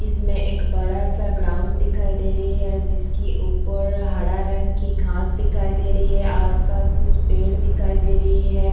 इसमें एक बड़ा सा ग्राउंड दिखाई दे रही है जिसकी ऊपर हरा रंग कि घास दिखाई दे रही है आस-पास कुछ पेड़ दिखाई दे रही हैं।